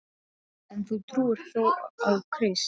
En þú trúir þó á Krist?